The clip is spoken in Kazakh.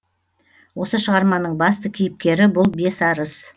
осы шығарманың басты кейіпкері бұл бесарыс